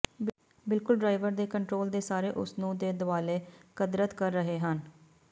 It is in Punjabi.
ਬਿਲਕੁਲ ਡਰਾਈਵਰ ਦੇ ਕੰਟਰੋਲ ਦੇ ਸਾਰੇ ਉਸ ਨੂੰ ਦੇ ਦੁਆਲੇ ਕਦਰਤ ਕਰ ਰਹੇ ਹਨ